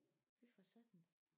Fy for satan